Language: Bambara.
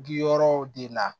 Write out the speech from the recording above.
Bi yɔrɔw de la